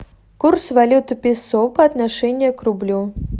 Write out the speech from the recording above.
курс валюты песо по отношению к рублю